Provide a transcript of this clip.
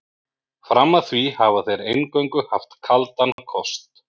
Fram að því hafa þeir eingöngu haft kaldan kost.